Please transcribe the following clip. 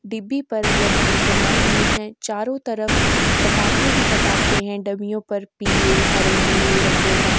डिब्बी पर लड़की बनाई हुई हैं। चारों तरफ पटाखे ही पटाखे हैं। डब्बियों पर पीले हरे नीले रंगों का --